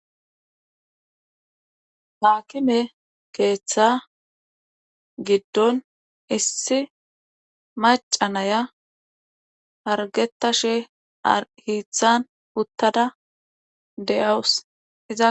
Haakime keetha gidon issi macca nayiya hargetashe hiitan utada de'awus. iza